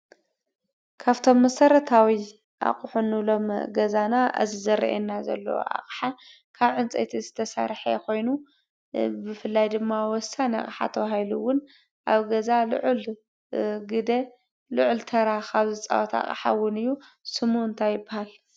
ካብ እቶም መሰረታዊ ኣቁሑ እንብሎም ገዛና እዚ ዝርአየና ዘሎ ኣቅሓ ካብ ዕንፅየቲ ዝተሰርሐ ኮይኑ፣ ብፍላይ ድማ ወሳኒ ኣቅሓ ተባሂሉ እውን ኣብ ገዛ ልዑል ግደ ልዑል ተራ ካብ ዝፃወቱ ኣቅሓ እውን እዩ። ስሙ እንታይ ይበሃል?